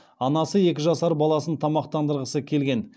анасы екі жасар баласын тамақтандырғысы келген